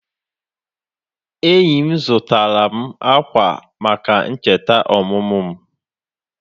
Enyi zụtara m akwa maka ncheta ọmụmụ m.